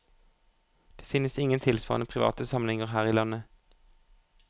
Det finnes ingen tilsvarende private samlinger her i landet.